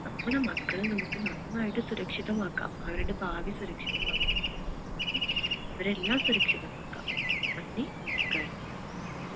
നമ്മുടെ മക്കളെ നമ്മക്ക് നന്നായിട്ട് സുരക്ഷിതമാക്കാം അവരുടെ ഭാവി സുരക്ഷിതമാക്കാം അവരെ എല്ലാം സുരക്ഷിതമാക്കാം നന്ദി നമസ്ക്കാരം